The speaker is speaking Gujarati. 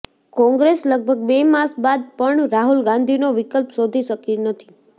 કોંગ્રેસ લગભગ બે માસ બાદ પણ રાહુલ ગાંધીનો વિકલ્પ શોધી શકી નથી